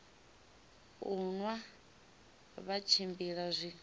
u nwa vha tshimbila zwi